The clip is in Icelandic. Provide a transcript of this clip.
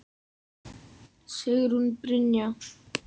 Sigrún Brynja